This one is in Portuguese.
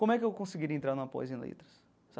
Como é que eu conseguiria entrar numa pós em letras?